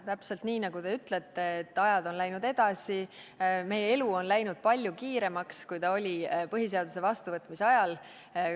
Täpselt nii, nagu te ütlesite, et aeg on läinud edasi, meie elu on läinud palju kiiremaks, kui see oli põhiseaduse vastuvõtmise ajal.